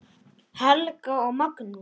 Helga og Magnús.